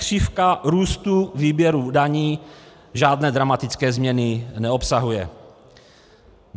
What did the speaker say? Křivka růstu výběru daní žádné dramatické změny neobsahuje.